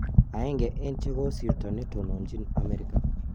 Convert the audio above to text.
aenge en chekosirta netonomjin Ameriga